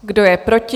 Kdo je proti?